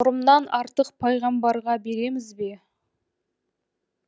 нұрымнан артық пайғамбарға береміз бе